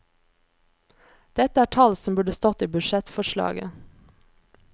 Dette er tall som burde stått i budsjettforslaget.